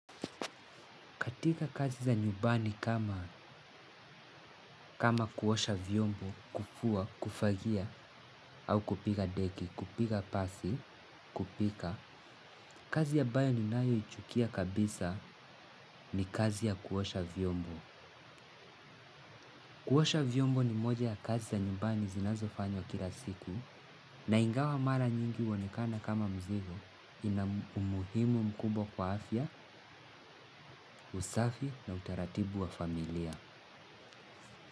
Katika kazi za nyumbani kama kuosha vyombo, kufua, kufagia, au kupiga deki, kupiga pasi, kupika. Kazi ya ambayo ni nayoichukia kabisa ni kazi ya kuosha vyombo. Kuosha vyombo ni moja ya kazi za nyumbani zinazofanywa kila siku na ingawa mara nyingi uonekana kama mzigo ina umuhimu mkubwa kwa afya, usafi na utaratibu wa familia.